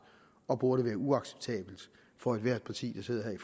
og burde være uacceptabelt for ethvert parti der sidder her i